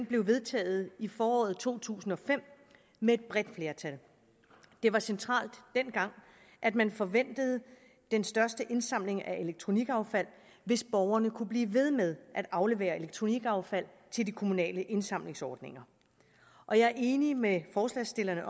blev vedtaget i foråret to tusind og fem med et bredt flertal det var centralt dengang at man forventede den største indsamling af elektronikaffald hvis borgerne kunne blive ved med at aflevere elektronikaffald til de kommunale indsamlingsordninger og jeg er enig med forslagsstillerne